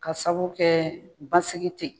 Ka sababu kɛ basigi tɛ yen.